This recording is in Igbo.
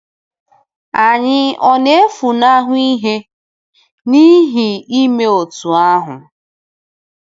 Anyị ọ̀ na-efunahụ ihe n’ihi ime otú ahụ?